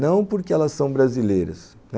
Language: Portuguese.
Não porque elas são brasileiras...